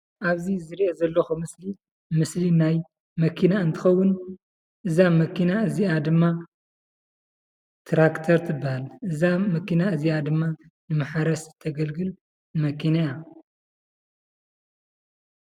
ኣብዚ ዝርአ ዘለውኹ ምስሊ ምስሊ ናይ መኪና እንትኸውን እዛ መኪና እዚኣ ድማ ትራክቴር ትባሃል እዛ መኪና እዘኣ ድማ ማሕረስ ተገልግል መኪና እያ።